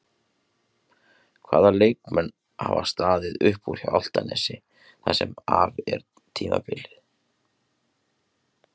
Hvaða leikmenn hafa staðið upp úr hjá Álftanesi það sem af er tímabili?